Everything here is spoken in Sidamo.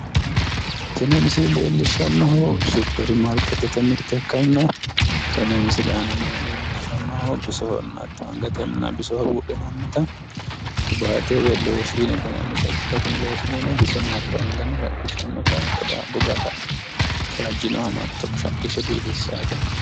Tini misile leellishshannohu supperimaarkeettete mirte ikkanna tenne misile aanano leellishshannohu bisonna hatto angatenna bisoho buudhinannita qiwaate woyi looshiine yinannita ikkitawo. Tini looshiineno bisono hatto angano shaqqishshannota goga kaajjinohano hatto shaqqishshe biifissawote.